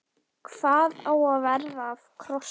Hvað á að verða af krossinum?